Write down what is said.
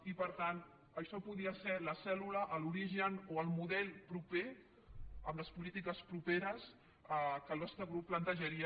i per tant això podria ser la cèl·lula l’origen o el model proper amb les polítiques properes que el nostre grup plantejaria